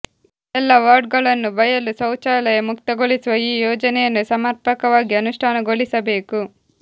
ಎಲ್ಲಾ ವಾರ್ಡ್ಗಳನ್ನು ಬಯಲು ಶೌಚಾಲಯ ಮುಕ್ತಗೊಳಿಸುವ ಈ ಯೋಜನೆಯನ್ನು ಸಮರ್ಪಕವಾಗಿ ಅನುಷ್ಟಾನಗೊಳಿಸಬೇಕು